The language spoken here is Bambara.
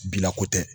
Bina ko tɛ